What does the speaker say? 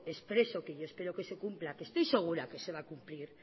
expreso que yo espero que se cumpla estoy segura que se va a cumplir